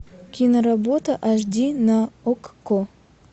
киноработа аш ди на окко